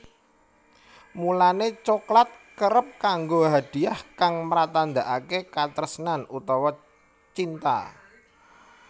Mulané coklat kerep kanggo hadiah kang mratandakaké katresnan utawa cinta